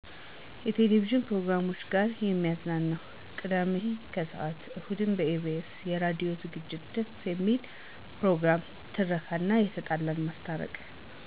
የቴሌቪዥን ፕሮግራም ጋ የሚያዝናና፦ ቅዳሜ ከሰዓት፣ እሁድን በኢቢኤስ የራዲዮ ዝግጅት ደስ የሚለኝ ፕሮግራም፦ ትረካ እና የተጣላን ማስታረቅ